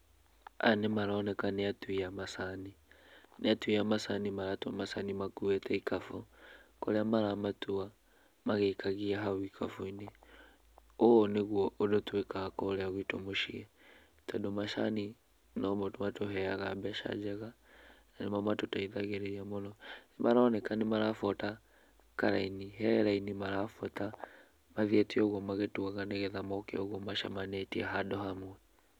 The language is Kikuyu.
Aya nĩ maroneka nĩ atui a macani. Nĩ atui a macani maratua macani makuĩte ikabu kũrĩa maramatua, magĩikagia hau ikabu-inĩ. Ũũ nĩguo ũndũ twĩkaga kũrĩa gwitũ mũciĩ, tondũ macani, nomo matũheaga mbeca njega, na nĩmo matũteithagĩrĩria mũno. Nĩ maroneka nĩ marabuata karaini, he raini marabuata mathiĩte ũguo magĩtuaga nĩgetha moke ũguo macemanĩtie handũ hamwe.